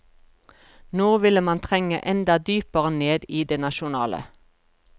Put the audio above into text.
Nå ville man trenge enda dypere ned i det nasjonale.